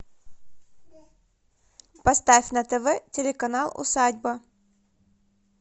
поставь на тв телеканал усадьба